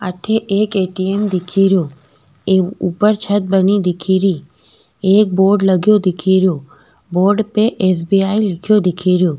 अठे एक ए.टी.एम. दिखे रियो ऊपर छत बनी दिखेरी एक बोर्ड लगयो दिखे रियो बोर्ड पे एस.बी.आई. लिखयो दिखे रियो।